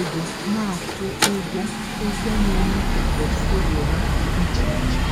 ego na-akwụ ụgwọ ụgwọ na-eme ka pọtụfoliyo ha dị iche iche.